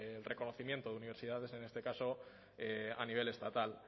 el reconocimiento de universidades en este caso a nivel estatal